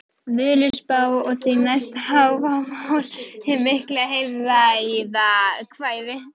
Völuspá, og því næst Hávamál, hið mikla heilræðakvæði.